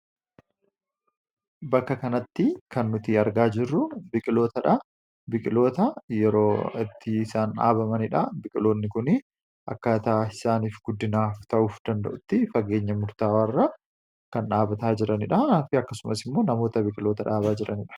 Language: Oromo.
bakka kanatti kan nuti argaa jirru biqiltootadha. Biqiloota yeroo itti isaan dhaabamaniidha. biqiltoonni kun akkaataa isaaniif guddinaaf ta'uufii danda'utti fageenya murtaawaa irra kan dhaabataa jiraniidha. akkasumas immoo namoota biqiltoota dhaabaa jiraniidha.